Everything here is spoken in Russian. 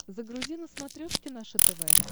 загрузи на смотрешке наше тв